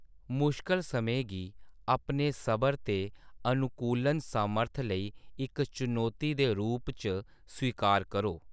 मुश्कल समें गी अपने सबर ते अनुकूलन समर्थ लेई इक चुनौती दे रूप च स्वीकार करो।